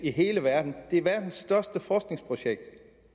i hele verden det er verdens største forskningsprojekt